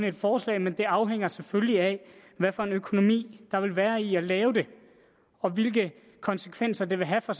et forslag men det afhænger selvfølgelig af hvad for en økonomi der vil være i at lave det og hvilke konsekvenser det vil have for